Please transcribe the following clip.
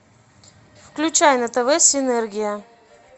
включай на тв синергия